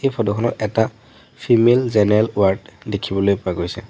Photo খনত এটা female general ward দেখিবলৈ পোৱা গৈছে।